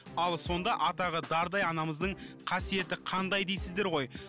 ал сонда атағы дардай анамыздың қасиеті қандай дейсіздер ғой